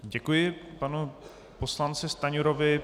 Děkuji panu poslanci Stanjurovi.